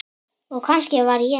Og kannski var ég það.